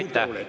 Aitäh!